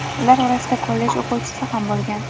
Ular orasida kollej o‘quvchisi ham bo‘lgan.